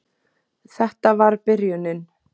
Þetta var byrjunin.